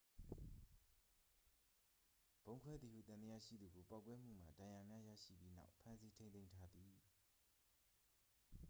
ဗုံးခွဲသည်ဟု သံသယရှိသူကို ပေါက်ကွဲမှုမှ ဒဏ်ရာများရရှိပြီးနောက် ဖမ်းဆီးထိန်းသိမ်းထားသည်